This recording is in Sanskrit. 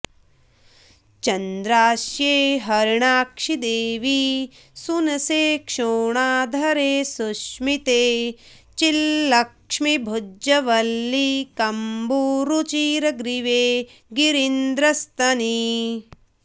चन्द्रास्ये हरिणाक्षि देवि सुनसे शोणाधरे सुस्मिते चिल्लक्ष्मीभुजवल्लि कम्बुरुचिरग्रीवे गिरीन्द्रस्तनि